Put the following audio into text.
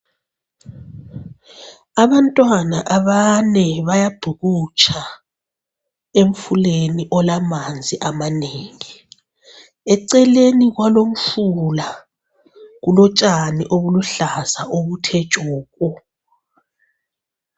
Abantwana abane bayabhukutsha, emfuleni olamanzi amanengi. Eceleni kwalomfula kulotshani obuluhlaza obuthe tshoko.